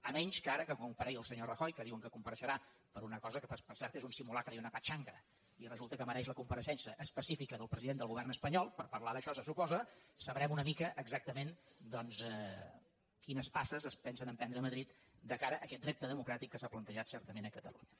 a menys que ara comparegui el senyor rajoy que diuen que compareixerà per una cosa que per cert és un simulacre i una patxanga i resulta que mereix la compareixença específica del president del govern espanyol per parlar d’això se suposa sabrem una mica exactament doncs quines passes es pensen emprendre a madrid de cara a aquest repte democràtic que s’ha plantejat certament a catalunya